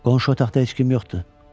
Qonşu otaqda heç kim yoxdur.